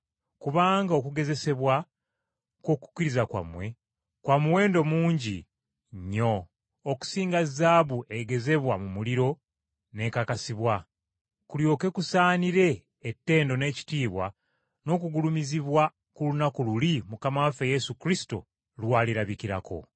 Kubanga okugezesebwa kw’okukkiriza kwammwe, kwa muwendo mungi nnyo okusinga zaabu egezebwa mu muliro n’ekakasibwa, kulyoke kusaanire ettendo n’ekitiibwa n’okugulumizibwa ku lunaku luli Mukama waffe Yesu Kristo lw’alirabikirako.